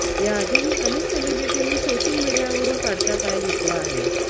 याआधीही अनेक सेलिब्रिटींनी सोशल मीडियावरून काढता पाय घेतला आहे